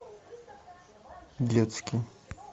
детский